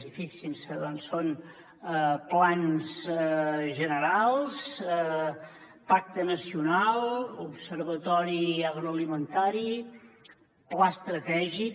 i fixin s’hi doncs són plans generals pacte nacional observatori agroalimentari pla estratègic